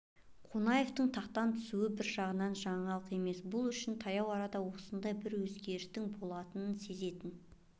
қонаевтың тақтан түсу бір жағынан жаңалық емес бұл үшін таяу арада осындай бір өзгерістің боларын сезетін